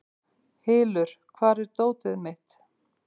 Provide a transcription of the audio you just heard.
Hylur, hvar er dótið mitt?